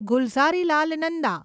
Gulzarilal Nanda